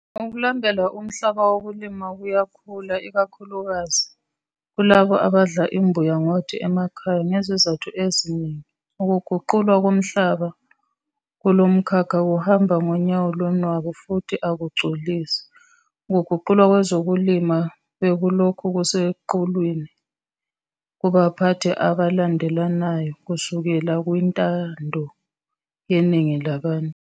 Ukulambela umhlaba wokulima kuyakhula, ikakhulukazi kulabo abadla imbuya ngothi emakhaya. Ngezizathu eziningi, ukuguqulwa komhlaba kulomkhakha kuhamba ngonyawo lonwabu futhi akugculisi. Ukuguqulwa kwezolimo bekulokhu kuseqhulwini kubaphathi abalandelanayo kusukela kwintando yeningi labantu.